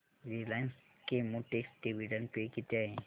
Reliance Chemotex dividend pay किती आहे